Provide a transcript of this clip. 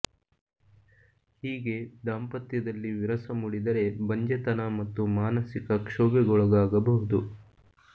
ಹೀಗೆ ದಾಂಪತ್ಯದಲ್ಲಿ ವಿರಸ ಮೂಡಿದರೆ ಬಂಜೆತನ ಮತ್ತು ಮಾನಸಿಕ ಕ್ಷೋಭೆಗೊಳಗಾಗಬಹುದು